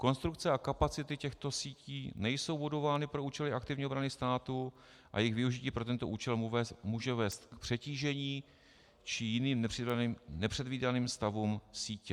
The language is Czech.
Konstrukce a kapacity těchto sítí nejsou budovány pro účely aktivní obrany státu a jejich využití pro tento účel může vést k přetížení či jiným nepředvídaným stavům sítě.